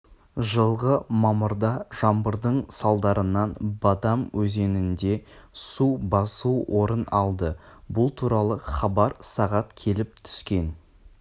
жылғы мамырда жаңбырдың салдарынан бадам өзенінде су басу орын алды бұл туралы хабар сағат келіп түскен